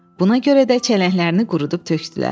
Buna görə də çələnglərini qurudub tökdülər.